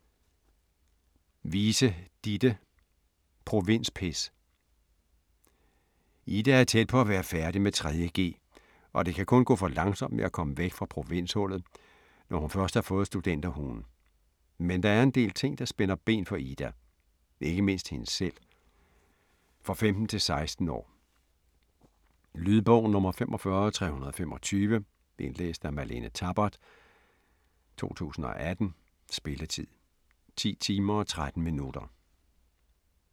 Wiese, Ditte: Provinspis Ida er tæt på at være færdig med 3.g og det kan kun gå for langsomt med at komme væk fra provinshullet, når først hun har fået studenterhuen. Men der er en del ting, der spænder ben for Ida, ikke mindst hende selv. For 15-16 år. Lydbog 45235 Indlæst af Malene Tabart, 2018. Spilletid: 10 timer, 13 minutter.